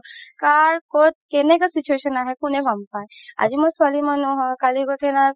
কাৰ ক'ত কেনেকা situation আহে কোনে গ'ম পাই আজি মই ছোৱালি মানুহ হয় কালি গৈ কিনে